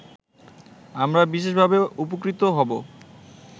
আমরা বিশেষভাবে উপকৃত হব